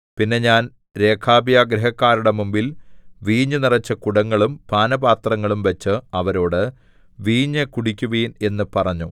പിന്നെ ഞാൻ രേഖാബ്യഗൃഹക്കാരുടെ മുമ്പിൽ വീഞ്ഞു നിറച്ച കുടങ്ങളും പാനപാത്രങ്ങളും വച്ച് അവരോട് വീഞ്ഞു കുടിക്കുവിൻ എന്ന് പറഞ്ഞു